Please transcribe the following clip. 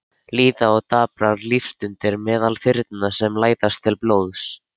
Líða og daprar lífsstundir meðal þyrna sem læsast til blóðs.